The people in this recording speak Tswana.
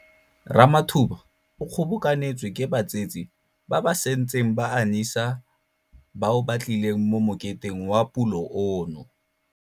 Ramathuba o kgobokanetswe ke batsetse ba ba santseng ba anyisa bao ba tlileng mo moketeng wa pulo ono.